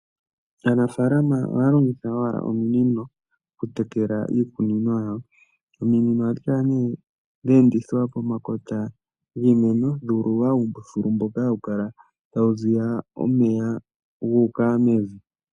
Aanafalama ohaya longitha owala ominino okutekela iikunino yawo. Ominino ohadhi kala nee dha endithwa pomakota giimeno, dha ululwa uumbululu mboka hawu kala tawu ziya omeya gu uka mevi.